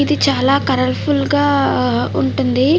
ఇది చాలా కలర్ఫుల్ గా ఉంటుంది.